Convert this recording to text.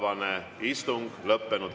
Vaheaeg 28 minutit.